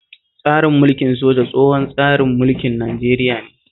Tsarin mulkin soja tsohon tsarin mulkin Nigeria ne